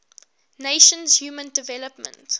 nations human development